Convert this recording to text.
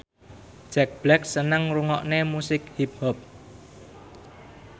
Jack Black seneng ngrungokne musik hip hop